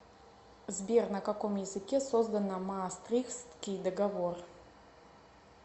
сбер на каком языке создано маастрихтский договор